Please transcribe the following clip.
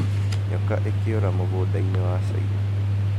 Nyoka 'ikĩũra' mũgũnda-inĩ wa China